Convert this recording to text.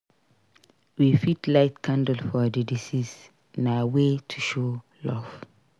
We fit light candle for di deceased; na way to show love.